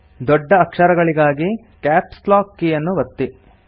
ದೊಡ್ಡ ಅಕ್ಷರಗಳಿಗಾಗಿ caps lock ಕೀಯನ್ನು ಒತ್ತಿ